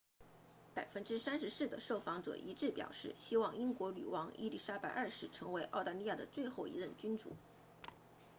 34% 的受访者一致表示希望英国女王伊丽莎白二世成为澳大利亚的最后一任君主